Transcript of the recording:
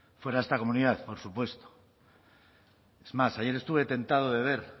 fuera de esta comunidad por supuesto es más ayer estuve tentado de ver